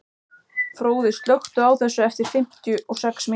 Fróði, slökktu á þessu eftir fimmtíu og sex mínútur.